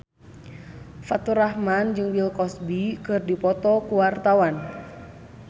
Faturrahman jeung Bill Cosby keur dipoto ku wartawan